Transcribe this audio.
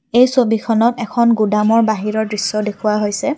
এই ছবিখনত এখন গুদামৰ বাহিৰৰ দৃশ্য দেখুওৱা হৈছে।